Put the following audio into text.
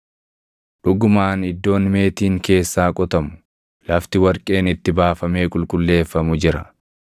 Dhugumaan iddoon meetiin keessaa qotamu, lafti warqeen itti baafamee qulqulleeffamu jira.